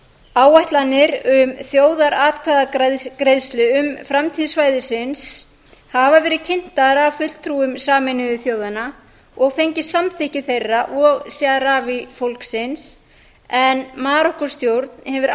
áætlanir um þjóðaratkvæðagreiðslu um framtíð svæðisins hafa verið kynntar af fulltrúum sameinuðu þjóðanna og fengið samþykki þeirra og sahrawi fólksins en marokkóstjórn hefur